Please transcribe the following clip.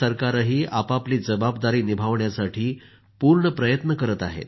राज्य सरकारंही आपापली जबाबदारी निभावण्यासाठी पूर्ण प्रयत्न करत आहेत